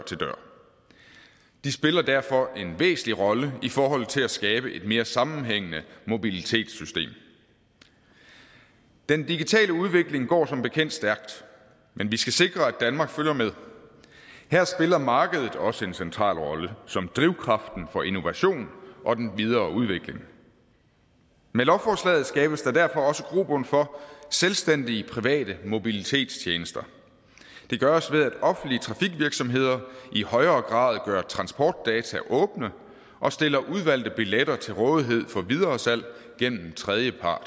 de spiller derfor en væsentlig rolle i forhold til at skabe et mere sammenhængende mobilitetssystem den digitale udvikling går som bekendt stærkt men vi skal sikre at danmark følger med her spiller markedet også en central rolle som drivkraften for innovation og den videre udvikling med lovforslaget skabes der derfor også grobund for selvstændige private mobilitetstjenester det gøres ved at offentlige trafikvirksomheder i højere grad gør transportdata åbne og stiller udvalgte billetter til rådighed for videresalg gennem tredjepart